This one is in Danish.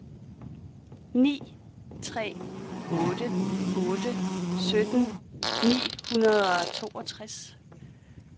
ni tre otte otte sytten ni hundrede og toogtres